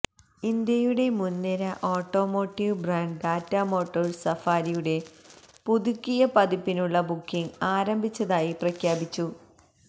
ഇന്ത്യയുടെ മുൻനിര automotive brand Tata motors സഫാരിയുടെ പുതുക്കിയ പതിപ്പിനുള്ള ബുക്കിങ് ആരംഭിച്ചതായി പ്രഖ്യാപിച്ചു